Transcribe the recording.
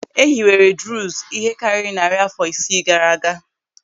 E hiwere Druuz ihe karịrị narị àfọ isii gaara aga.